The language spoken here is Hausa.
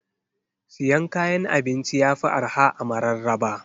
Siyan kayan abinci yafi arha a mararaba.